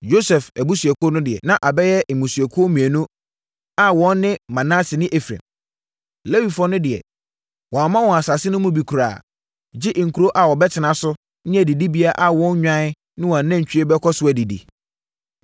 Yosef abusuakuo no deɛ, na abɛyɛ mmusuakuo mmienu a wɔn ne Manase ne Efraim. Lewifoɔ no deɛ, wɔamma wɔn asase no mu bi koraa, gye nkuro a wɔbɛtena so ne adidibea a wɔn nnwan ne wɔn anantwie bɛkɔ so adidi.